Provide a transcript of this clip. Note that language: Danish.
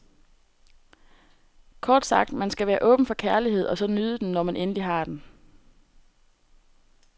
Kort sagt, man skal være åben for kærlighed, og så nyde den, når man endelig har den.